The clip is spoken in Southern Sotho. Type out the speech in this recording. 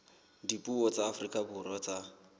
dipuo tsa afrika borwa tsa